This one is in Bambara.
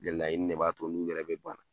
Gɛlɛya ɲini ne b'a to n'u yɛrɛ be bana